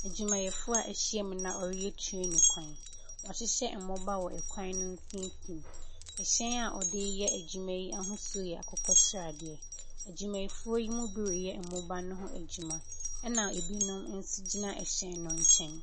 Adwumayɛfoɔ a wɔahyiam na wɔreyɛ train kwan. Wɔahyehyɛ mmoba wɔ kwan no mfimfini. Hyɛn a wɔde reyɛ adwuma yi ahosuo yɛ akokɔ sradeɛ. Adwumayɛfoɔ yi bi reyɛ mmoba no ho adwuma, ɛnna ebinom nso gyina hyɛn no nkyɛn.